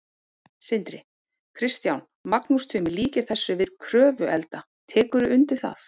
Sindri: Kristján, Magnús Tumi líkir þessu við Kröfluelda, tekurðu undir það?